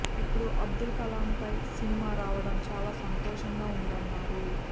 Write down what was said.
ఇప్పుడు అబ్దుల్ కలాం పై సినిమా రావడం చాలా సంతోషంగా ఉందన్నారు